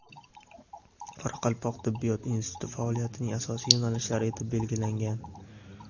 Qoraqalpoq tibbiyot instituti faoliyatining asosiy yo‘nalishlari etib belgilangan.